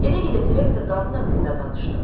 Gedə-gedə direktor qadın haqqında danışdı.